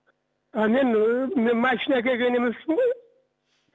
а мен мен машина әкелген емеспін ғой